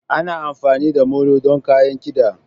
Ana amfani da molo don kayan kiɗa.